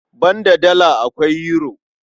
Banda Dala, akwai Yuro.